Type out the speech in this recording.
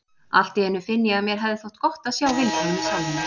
Allt í einu finn ég að mér hefði þótt gott að sjá Vilhjálm í salnum.